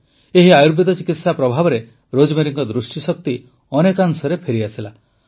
ଏହି ଆୟୁର୍ବେଦ ଚିକିତ୍ସା ପ୍ରଭାବରେ ରୋଜମେରୀଙ୍କ ଦୃଷ୍ଟିଶକ୍ତି ଅନେକାଂଶରେ ଫେରିଆସିଲା